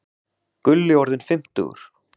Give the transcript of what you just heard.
Gulli orðinn fimmtugur.